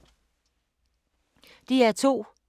DR2